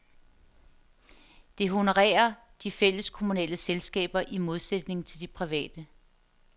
Det honorerer de fælleskommunale selskaber i modsætning til de private.